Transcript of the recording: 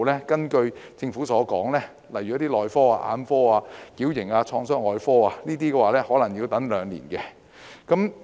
根據政府資料，一些內科、眼科和矯形及創傷外科的專科可能需要輪候兩年。